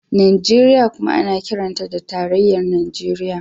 Najeriya kuma ana kiranta da tarayyar Najeriya.